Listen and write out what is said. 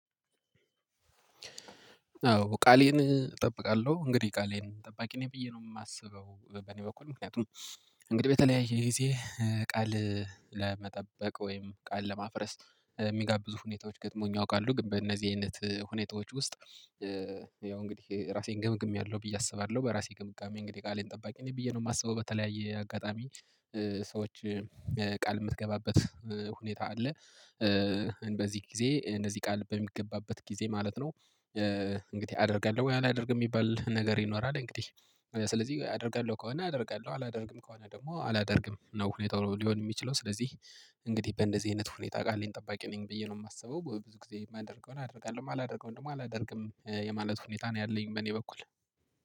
አዎ ቃሌን እጠብቃለሁ። እንግዲህ ቃሌን ጠባቂ ነኝ ብዬ ነው የማስበው። በኔ በኩል ምክንያቱም እንግዲህ በተለያየ ጊዜ ቃል ለመጠበቅ ወይም ቃል ለማፍረስ የሚጋብዙ ሁኔታዎች ገጥመውኝ ያውቃሉ ግን በእነዚህ አይነት ሁኔታዎች ውስጥ ያው እንግዲህ ራሴን ገምግሜያለሁ ብዬ አስባለሁ። በራሴ ግምጋሜ እንግዲህ ቃሌን ጠባቂ እኔ ብዬ ነው የማስበው። በተለያየ አጋጣሚ ሰዎች ቃል የምትገባበት ሁኔታ አለ። በዚህ ጊዜ እንደዚህ ቃል በሚገባበት ጊዜ ማለት ነው እንድጊህ አደርጋለሁ ወይ አላደርግም የሚባል ነገር ይኖራል እንግዲህ ስለዚህ አደርጋለሁ ከሆነ አደርጋለሁ፤ አላደርግም ከሆነ ደግሞ አላደርግም ነው ሁኔታው ሊሆን የሚችለው። ስለዚህ እንግዲህ በእንደዚህ አይነት ሁኔታ ቃሌን ጠባቂ ነኝ ብዬ ነው የማስበው። ብዙ ጊዜ የማደርገውን አደርጋለሁ የማላደርገውን ደግሞ አላደርግም የማለት ሁኔታ ነው ያለኝ በእኔ በኩል።